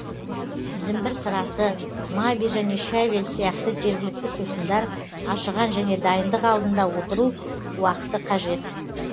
зімбір сырасы маби және щавель сияқты жергілікті сусындар ашыған және дайындық алдында отыру уақыты қажет